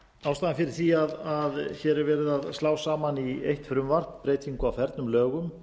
ástæðan fyrir því að hér er verið að slá saman í eitt frumvarp breytingu á fernum lögum